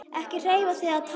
Ekki hreyfa þig eða tala.